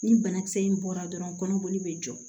Ni banakisɛ in bɔra dɔrɔn kɔnɔboli be jɔ